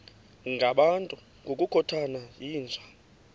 ngabantu ngokukhothana yinja